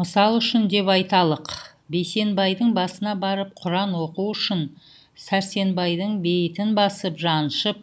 мысалы үшін деп айталық бейсенбайдың басына барып құран оқу үшін сәрсенбайдың бейітін басып жаншып